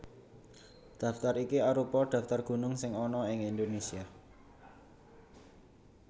Daftar iki arupa daftar gunung sing ana ing Indonésia